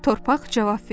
Torpaq cavab verdi: